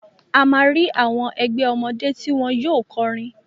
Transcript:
A máa rí àwọn rí àwọn ẹgbẹ́ ọmọdé tí wọn yóò kọrin.